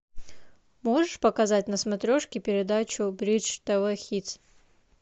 можешь показать на смотрешке передачу бридж тв хитс